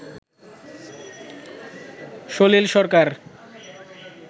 সলিল সরকার